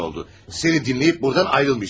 Seni dinləyib buradan ayrılmayacaqdım.